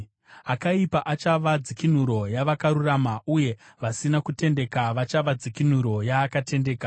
Akaipa achava dzikinuro yavakarurama, uye vasina kutendeka vachava dzikinuro yaakatendeka.